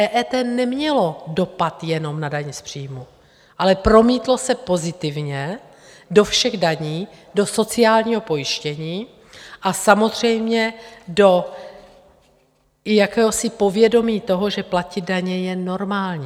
EET nemělo dopad jenom na dani z příjmu, ale promítlo se pozitivně do všech daní, do sociálního pojištění a samozřejmě do jakési povědomí toho, že platit daně je normální.